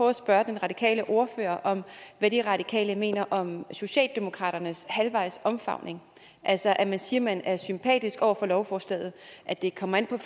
at spørge den radikale ordfører om hvad de radikale mener om socialdemokraternes halvvejs omfavnelse altså at man siger man er sympatisk over for lovforslaget at det kommer an på